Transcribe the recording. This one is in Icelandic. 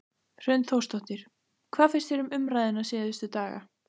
Hrund Þórsdóttir: Hvað finnst þér um umræðuna síðustu daga?